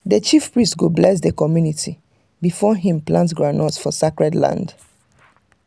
the chief priest go bless the community before him plant groundnut for sacred land.